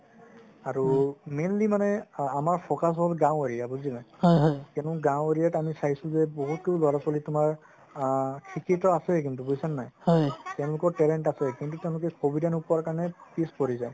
আৰু mainly মানে আমাৰ focus হল গাওঁ area বুজিলা কিয়নো গাওঁ area ত আমি চাইছো যে বহুতো লৰা ছোৱালি তুমাৰ আ শিক্ষিত আছে কিন্তু বুজিছা নে নাই তেওঁলোকৰ talent আছে কিন্তু তেওঁলোকে সুবিধা নোপোৱাৰ কাৰণে পিছ পৰি যাই